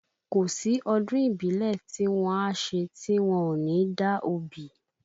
Kò sí ọdún ìbílẹ̀ tí wọ́n á ṣe tí wọ́n ò ní da obì